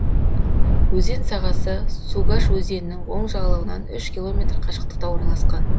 өзен сағасы сугаш өзенінің оң жағалауынан үш километр қашықтықта орналасқан